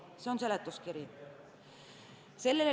See on seletuskiri.